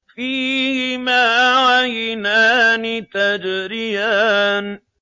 فِيهِمَا عَيْنَانِ تَجْرِيَانِ